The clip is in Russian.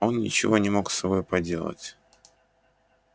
он ничего не мог с собой поделать